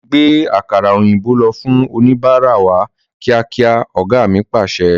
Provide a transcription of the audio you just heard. Gbe àkàrà òyìnbó lọ fún oníbárá wá kíákíá! Ọ̀gá mi Pàṣẹ.